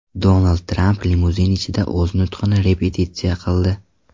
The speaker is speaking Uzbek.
Donald Tramp limuzin ichida o‘z nutqini repetitsiya qildi .